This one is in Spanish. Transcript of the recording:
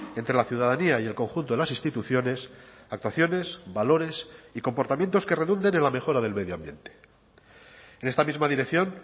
entre la ciudadanía y el conjunto de las instituciones actuaciones valores y comportamientos que redunden en la mejora del medio ambiente en esta misma dirección